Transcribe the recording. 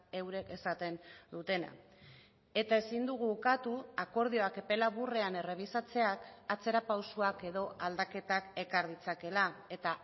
eurek esaten dutena eta ezin dugu ukatu akordioak epe laburrean errebisatzeak atzera pausoak edo aldaketak ekar ditzakela eta